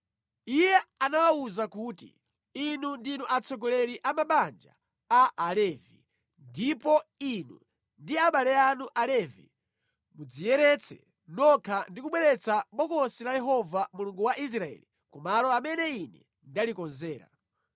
Iye anawawuza kuti, “Inu ndinu atsogoleri a mabanja a Alevi ndipo inu ndi abale anu Alevi mudziyeretse nokha ndi kubweretsa Bokosi la Yehova Mulungu wa Israeli ku malo amene ine ndalikonzera.